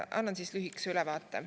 Annan ka lühikese ülevaate.